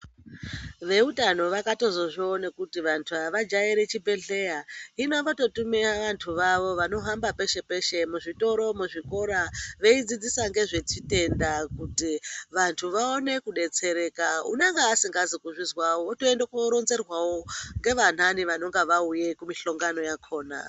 Veutano vakatozozvione kuti vantu avajaire zvibhedhleya hino vototumw vantu vawo vanohamb apeshe peshe muzvitoro muzvikora veidzidzisa ngezvezvitenda kuti vantu vaone kudetsereka unenga asikazi kuzvizwawo wotoende koronzerwawo ngevanhani vanenge vauye kumihlongano yakhona.